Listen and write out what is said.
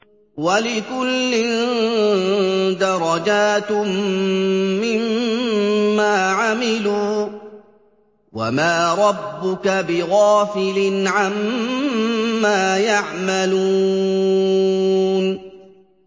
وَلِكُلٍّ دَرَجَاتٌ مِّمَّا عَمِلُوا ۚ وَمَا رَبُّكَ بِغَافِلٍ عَمَّا يَعْمَلُونَ